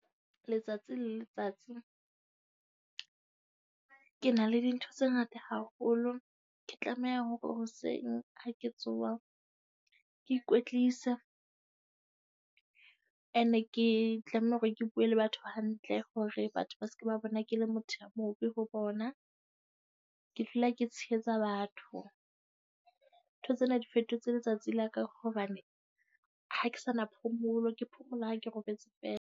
Letsatsi le letsatsi ke na le dintho tse ngata haholo, ke tlameha hore hoseng ha ke tsoha ke ikwetlisa. Ene ke tlameha hore ke bue le batho hantle hore batho ba se ke ba bona ke le motho a mobe ho bona. Ke dula ke tshehetsa batho. Dintho tsena di fetotse letsatsi la ka hobane ha ke sa na phomolo, ke phomola ha ke robetse feela.